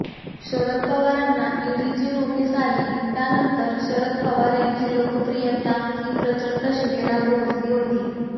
शरद पवारांना ईडीची नोटीस आली त्यानंतर शरद पवार यांची लोकप्रियता ही प्रचंड शिगेला पोहचली होती